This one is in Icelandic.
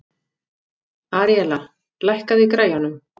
Aríella, lækkaðu í græjunum.